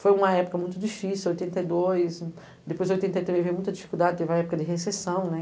Foi uma época muito difícil, oitenta e dois, depois oitenta e três veio muita dificuldade, teve a época de recessão, né?